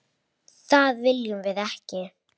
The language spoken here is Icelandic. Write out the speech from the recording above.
Það viljum við ekki!